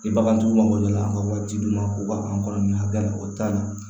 Ni bagantigiw mago jɔra an ka waati d'u ma k'u ka anw kɔnɔ nin hakina o taa ni